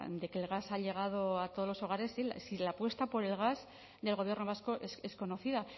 de que el gas ha llegado a todos los hogares si la apuesta por el gas del gobierno vasco es conocida